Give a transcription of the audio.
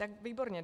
Tak výborně.